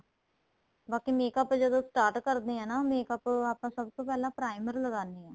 ਬਾਕੀ makeup ਜਦੋਂ start ਕਰਦੇ ਹਾਂ makeup ਸਭ ਤੋਂ ਪਹਿਲਾਂ primer ਲਗਾਂਦੇ ਹਾਂ